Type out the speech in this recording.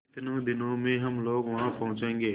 कितने दिनों में हम लोग वहाँ पहुँचेंगे